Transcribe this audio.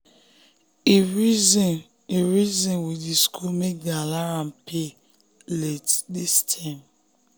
him reason him reason with the school make dem allow am pay late this term